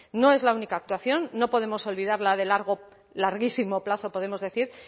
no es la única actuación no podemos olvidar la de largo larguísimo plazo podemos decir